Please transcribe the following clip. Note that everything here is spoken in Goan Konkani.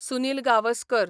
सुनील गावस्कर